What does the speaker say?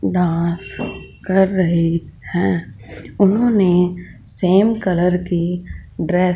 dance कर रहे हैं उन्होंने सेम कलर ड्रेस की ड्रेस --